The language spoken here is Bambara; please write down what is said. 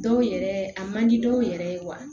Dɔw yɛrɛ a man di dɔw yɛrɛ ye wa